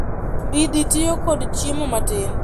mbidhi tiyo kod chiemo matin